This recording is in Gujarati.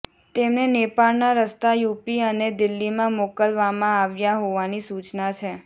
તેમને નેપાળના રસ્તા યૂપી અને દિલ્લીમાં મોકલવામાં આવ્યા હોવાની સૂચના છે